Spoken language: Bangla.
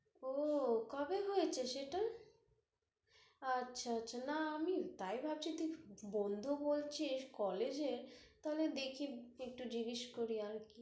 ওহ, কবে হয়েছে সেটা? আচ্ছা, আচ্ছা, না তাই ভাবছি, তুই বন্ধু বলছিস college এ, তাহলে দেখি একটু জিজ্ঞেস করি আরকি